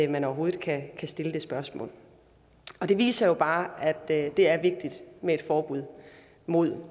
man overhovedet kan stille det spørgsmål det viser jo bare at det er vigtigt med et forbud mod